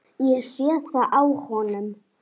Ég sé það á honum.